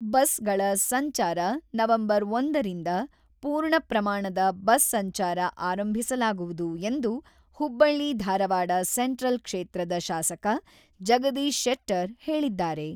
ಬಸ್‌ಗಳ ಸಂಚಾರ ನವೆಂಬರ್ ಒಂದ ರಿಂದ ಪೂರ್ಣ ಪ್ರಮಾಣದ ಬಸ್ ಸಂಚಾರ ಆರಂಭಿಸಲಾಗುವುದು" ಎಂದು ಹುಬ್ಬಳ್ಳಿ-ಧಾರವಾಡ ಸೆಂಟ್ರಲ್ ಕ್ಷೇತ್ರದ ಶಾಸಕ ಜಗದೀಶ್ ಶೆಟ್ಟರ್‌ ಹೇಳಿದ್ದಾರೆ.